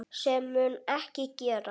Sem mun ekki gerast.